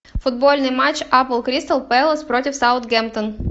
футбольный матч апл кристал пэлас против саутгемптон